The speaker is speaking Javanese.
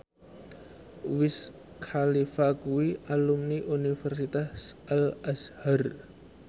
Wiz Khalifa kuwi alumni Universitas Al Azhar